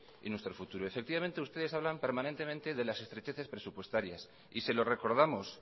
y nuestro futuro efectivamente ustedes hablan permanentemente de las estrecheces presupuestarias y se lo recordamos